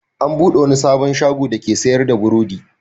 An buɗe wani sabon shago dake sayar da burodi.